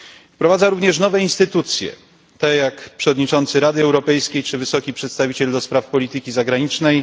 Wprowadza również nowe instytucje, takie jak przewodniczący Rady Europejskiej czy Wysoki Przedstawiciel ds. Polityki Zagranicznej.